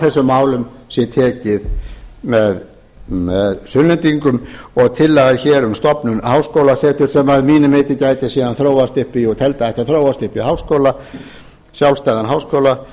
þessum málum sé tekið með sunnlendingum og tillaga um stofnun háskólaseturs sem að mínu viti gæti síðan þróast upp í og ég teldi að ætti að þróast upp í sjálfstæðan háskóla